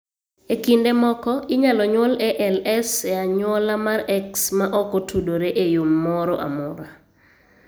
E kinde moko, inyalo nyuol ALS e anyuola mar X ma ok otudore e yo moro amora.